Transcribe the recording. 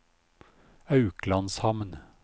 Auklandshamn